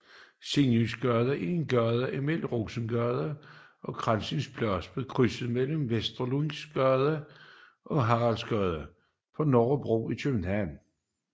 Sigynsgade er en gade mellem Rovsingsgade og Krakas Plads ved krydset mellem Vermundsgade og Haraldsgade på Nørrebro i København